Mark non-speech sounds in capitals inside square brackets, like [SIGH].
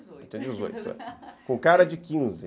[LAUGHS] com cara de quinze